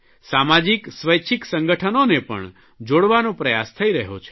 સામાજિક સ્વૈચ્છિક સંગઠનોને પણ જોડવાનો પ્રયાસ થઇ રહ્યો છે